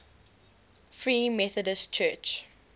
free methodist church